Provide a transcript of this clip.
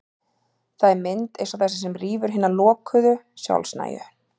Það er mynd eins og þessi sem rýfur hina lokuðu, sjálfnægu